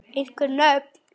Einhver nöfn?